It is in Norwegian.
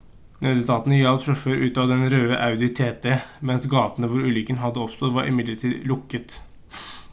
nødetatene hjalp sjåføren ut av den røde audi tt mens gaten hvor ulykken hadde oppstått var midlertidig lukket